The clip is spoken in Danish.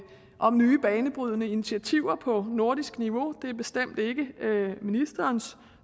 om nye banebrydende initiativer på nordisk niveau og det er bestemt ikke ministerens